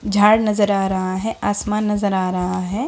झाड़ नजर आ रहा है आसमान नजर आ रहा है।